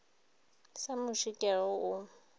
sa muši ke go o